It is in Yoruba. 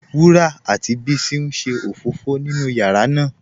Wurà àti Bísí n ṣé ofófò nínú yàrá ná